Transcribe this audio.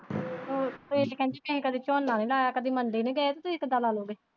ਕਦੀ ਝੋਨਾ ਨਹੀਂ ਲਾਇਆ ਕਦੀ ਮੰਡੀ ਨਹੀਂ ਗਏ ਤੇ ਤੁਸੀਂ ਕਿੱਦਾਂ ਲਾ ਲੈਣੀ।